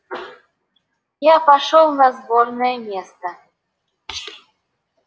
я пошёл на сборное место